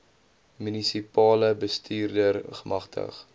munisipale bestuurder gemagtig